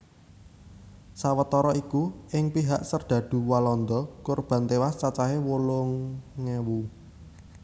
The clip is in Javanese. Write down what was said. Sawetara iku ing pihak serdadu Walanda kurban tewas cacahé wolung ewu